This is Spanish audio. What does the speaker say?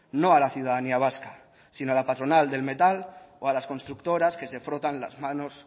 no a la ciudadanía vasca sino a la patronal del metal o a las constructoras que se frotan las manos